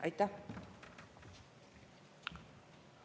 Aitäh!